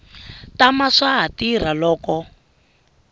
tama swa ha tirha loko